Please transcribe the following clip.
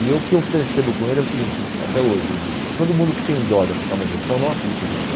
E o que eu percebo com ele é o seguinte, até hoje eu digo, todo mundo que tem dó de aplicar uma injeção não aplica a injeção.